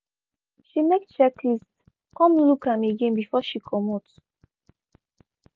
she make checklist come look am again before she comot.